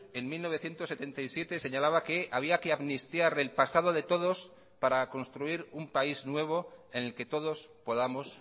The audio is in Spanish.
en mil novecientos setenta y siete señalaba que había que amnistiar el pasado de todos para construir un país nuevo en el que todos podamos